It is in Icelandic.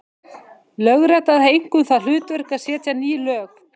Lögrétta hafði einkum það hlutverk að setja ný lög.